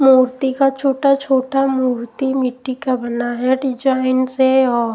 मूर्ति का छोटा-छोटा मूर्ति मिट्टी का बना है डिजाइन से और--